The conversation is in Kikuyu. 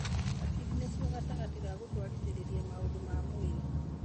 Hakiri nĩcio gatagatĩ ka gũtwarithiria maũndũ ma mwĩrĩ.